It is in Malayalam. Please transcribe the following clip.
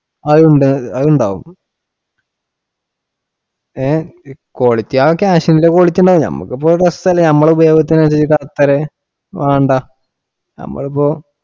അതുണ്ടാവും ഹേ quality ആ cash ഇന്റെ quality ഉണ്ടാവും. നമുക്കിപ്പൊ best തന്നെ നമ്മൾ ഉപയോഗിച്ച രീതിക്കു correct തന്നെ, വേണ്ട നമ്മളിപ്പോ